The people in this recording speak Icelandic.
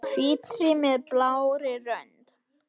Hvítri með blárri rönd.